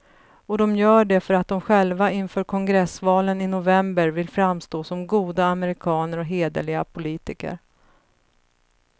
Och de gör det för att de själva inför kongressvalen i november vill framstå som goda amerikaner och hederliga politiker.